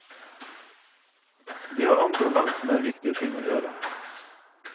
De har andre og langt mer viktige ting å gjøre.